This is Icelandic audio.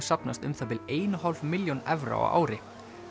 safnast um það bil ein og hálf milljón evra á ári